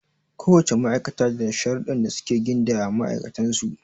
Ko wace ma'aikata da sharuɗdɗan da suke gindaya ma ma'aikatan su.